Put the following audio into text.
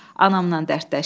Anamla dərdləşdi.